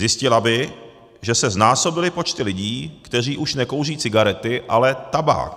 Zjistila by, že se znásobily počty lidí, kteří už nekouří cigarety, ale tabák.